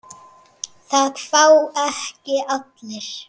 Það fá ekki allir.